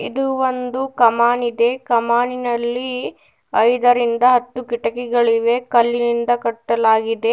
ಇಲ್ಲಿ ಒಂದು ಕಾಮನ್ ಇದೆ ಕಮಾನಿನಲ್ಲಿ ಐದರಿಂದ ಹತ್ತು ಕಿಟಕಿಗಳಿವೆ ಕಲ್ಲಿನಿಂದ ಕಟ್ಟಲಾಗಿದೆ.